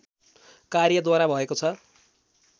कार्यद्वारा भएको छ